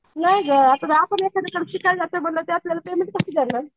नाही गं आपण त्यांच्याकडे शिकायला जातो म्हणल्यावर ते आपल्याला पेमेंट कसे देणार?